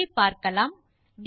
ஆகவே பார்க்கலாம்